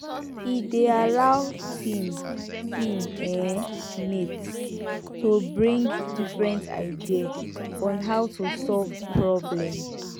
e dey allow team team um mate to bring different idea on how to solve problem